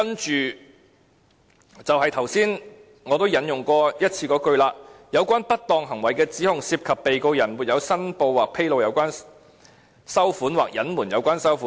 接着，就是我剛才引用過一次的這句，"有關不當行為的指控，涉及被告人沒有申報或披露有關收款，或隱瞞有關收款。